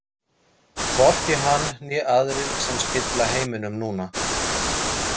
Hvorki hann né aðrir sem spilla heiminum núna.